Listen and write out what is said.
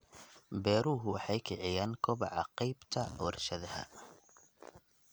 Beeruhu waxay kiciyaan kobaca qaybta warshadaha.